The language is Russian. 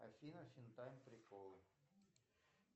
афина фин тайм приколы